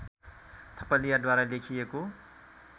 थपलियाद्वारा लेखिएको